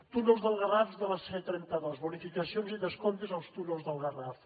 túnels del garraf de la c trenta dos bonificacions i descomptes als túnels del garraf